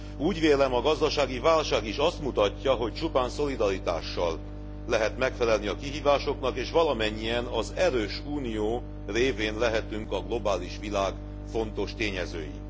Úgy vélem, a gazdasági válság is azt mutatja, hogy csupán szolidaritással lehet megfelelni a kihívásoknak, és valamennyien az erős Unió révén lehetünk a globális világ fontos tényezői.